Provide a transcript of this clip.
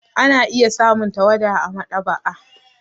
Ana iya samun tawada a maɗaba'a.